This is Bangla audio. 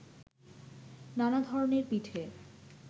নানা ধরনের পিঠে